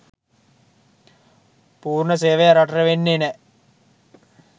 පුර්ණ සේවය රටට වෙන්නේ නැ.